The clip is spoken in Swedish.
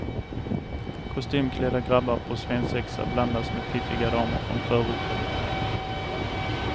Kostymklädda grabbar på svensexa blandas med piffiga damer från förorten.